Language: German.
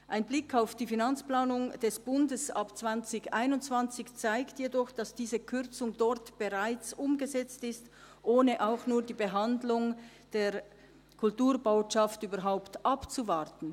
Ein Blick auf die Finanzplanung 2021 des Bundes zeigt jedoch, dass diese Kürzung dort bereits umgesetzt ist, ohne auch nur die Behandlung der Kulturbotschaft überhaupt abzuwarten.